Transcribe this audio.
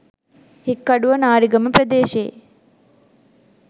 හික්කඩුව නාරිගම ප්‍රදේශයේ